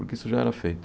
Porque isso já era feito.